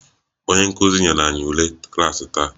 Onye nkuzi nyere anyị ule klaasị taa